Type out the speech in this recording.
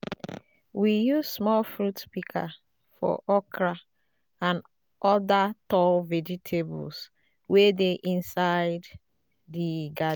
we use small fruit pika for okra and oda tall vegetables wey dey inside di garden